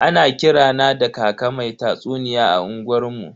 Ana kira na da kaka mai tatsuniya a unguwar mu.